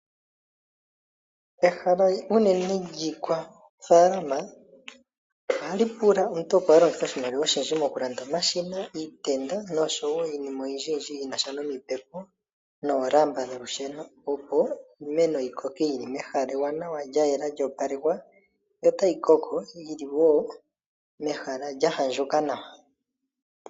Ehala unene lyiikwafaalama ohali pula omuntu opo a longithe oshimaliwa oshindji mokulanda omashina, iitenda noshowo iinima oyindjiyindji yi na sha nomipepo noolamba dholusheno, opo iimeno yi koke yi li mehala ewanawa lya yela lyo opalekwa, yo otayi koko yi li wo mehala lya andjuka nawa.